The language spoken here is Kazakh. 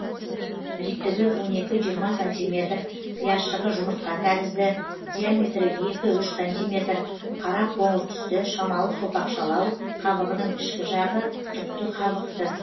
биіктігі он екі жиырма сантиметр пиязшығы жұмыртқа тәрізді диаметрі екі үш сантиметр қара қоңыр түсті шамалы сопақшалау қабығының ішкі жағы түкті қабықты